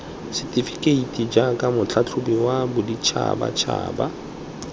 setefekeiti jaaka motlhatlhobi wa boditšhabatšhaba